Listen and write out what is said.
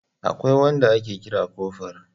Akwai wanda ake kira kofur.